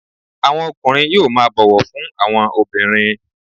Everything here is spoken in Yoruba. Àwọn ọkùnrin yóò máa bọ̀wọ̀ fún àwọn obìnrin